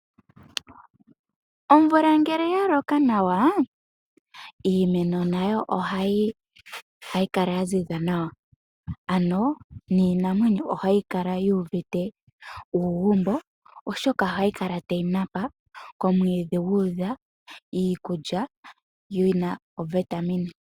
Omvula ngele ya loka nawa, iimeno nayo ohayi kala ya ziza nawa. Ano niinamwenyo ohayi kala yuuvite uugumbo. Oshoka ohayi kala tayi napa, komwiidhi guudha iikulya yina ovitamine .